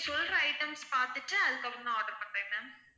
நீங்க சொல்ற items பாத்துட்டு அதுக்கப்பறம் நான் order பண்றேன் ma'am